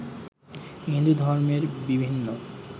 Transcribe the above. হিন্দুধর্মের বিভিন্ন